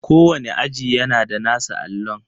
Kowane aji yana da nasa allon.